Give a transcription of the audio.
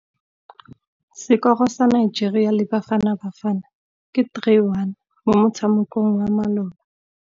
Sekôrô sa Nigeria le Bafanabafana ke 3-1 mo motshamekong wa malôba.